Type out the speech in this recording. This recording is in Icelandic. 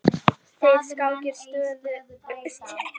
Þær skákir stóðu stutt yfir.